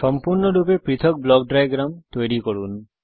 সম্পূর্ণরূপে পৃথক block diagram তৈরী করুন